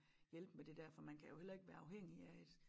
Hjælpe med det dér for man kan jo heller ikke være afhængig af et